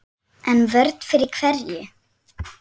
En vörn fyrir hverju?